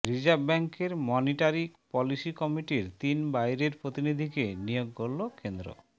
reserve ব্যাংকের monetary policy কমিটির তিন বাইরের প্রতিনিধিকে নিয়োগ করল কেন্দ্র